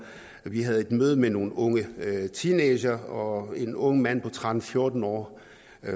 vi havde et møde med nogle unge teenagere og en ung mand på tretten eller fjorten år